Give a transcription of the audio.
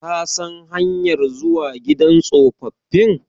Ka san hanyar zuwa gidan tsofaffi?